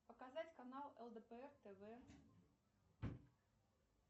показать канал лдпр тв